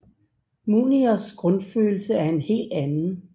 Mouniers grundfølelse er en helt anden